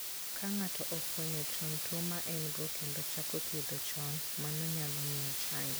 Ka ng'ato ofwenyo chon tuwo ma en go kendo ochako thiedho chon, mano nyalo miyo ochangi.